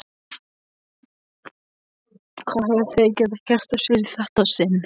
Hvað höfðu þau gert af sér í þetta sinn?